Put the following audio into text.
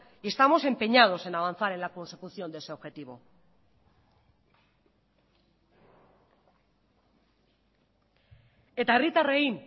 estamos empeñados en avanzar en la consecución de ese objetivo eta herritarrei